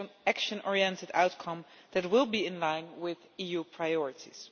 action oriented outcome that will be in line with EU priorities.